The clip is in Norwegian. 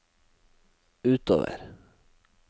utover